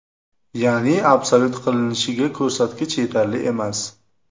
Ya’ni absolyut qilinishiga ko‘rsatkich yetarli emas.